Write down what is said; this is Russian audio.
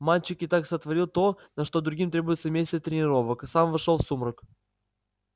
мальчик и так сотворил то на что другим требуются месяцы тренировок сам вошёл в сумрак